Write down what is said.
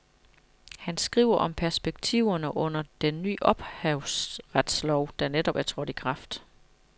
Han skriver om perspektiverne under den ny ophavsretslov, der netop er trådt i kraft.